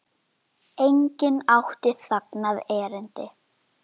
Það er smá spotti.